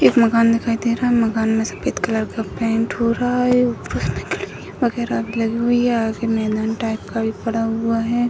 एक मकान दिखाई दे रहा है मकान में सफेद कलर का पेंट हो रहा है ऊपर में खिड़की वगैरा लगी हुइ है टाइप का पड़ा हुआ है।